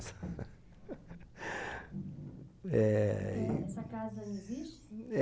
eh, e... Eh, essa casa ainda existe?